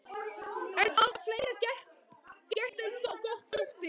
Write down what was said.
En það var fleira gert en gott þótti.